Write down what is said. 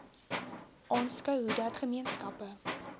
aanskou hoedat gemeenskappe